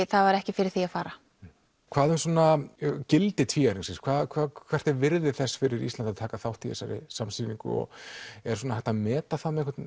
það var ekki fyrir því að fara hvað um gildi hvert er virði þess fyrir Ísland að taka þátt í þessari samsýningu er hægt að meta